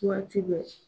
Waati bɛɛ